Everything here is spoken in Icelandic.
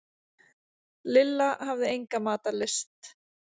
Lilla hafði enga matarlyst.